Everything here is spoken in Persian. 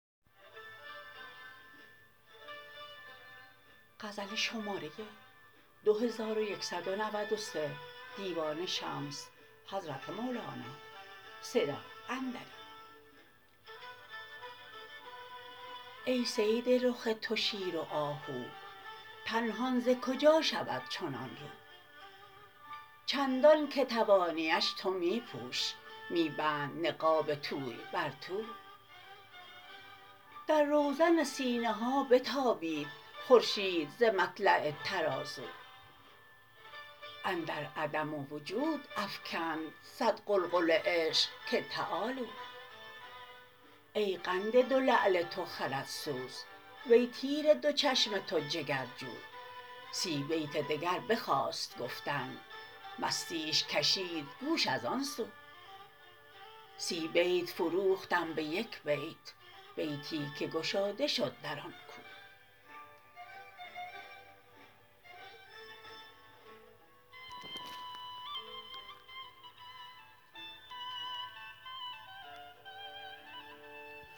ای صید رخ تو شیر و آهو پنهان ز کجا شود چنان رو چندانک توانیش تو می پوش می بند نقاب توی بر تو در روزن سینه ها بتابید خورشید ز مطلع ترازو اندر عدم و وجود افکند صد غلغله عشق که تعالوا ای قند دو لعل تو خردسوز وی تیر دو چشم تو جگرجو سی بیت دگر بخواست گفتن مستیش کشید گوش از آن سو سی بیت فروختم به یک بیت بیتی که گشاده شد در آن کو